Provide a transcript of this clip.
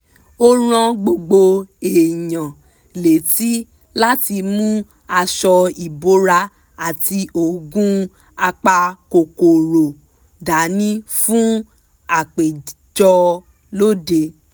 ó rán gbogbo èèyàn létí láti mú aṣọ ìbora àti oògùn apakòkòrò dání fún àpéjọ lóde